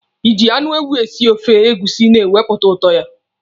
Iji anụ ewu esi ofe egusi na-ewepụta ụtọ ya.